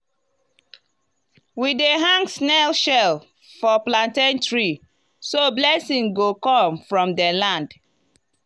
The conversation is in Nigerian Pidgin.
we dey hang snail shell for plantain tree so blessing go come from the land.